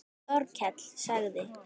Þórkell sagði